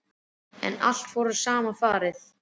En svo fór allt í sama farið.